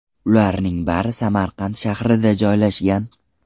Ularning bari Samarqand shahrida joylashgan.